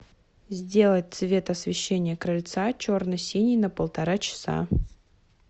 сделать цвет освещения крыльца черно синий на полтора часа